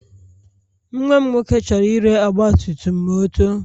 Nwa m nwoke chọrọ ire ọgbatumtum ma o too.